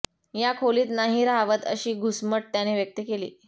या खोलीत नाही रहावत अशी घुसमट त्याने व्यक्त केली